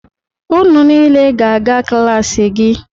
Unu niile ga-aga klaasị gị!